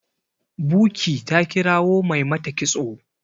buky ta kirawo Mai mata kitso